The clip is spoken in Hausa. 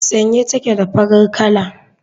Sanye take da farin kala.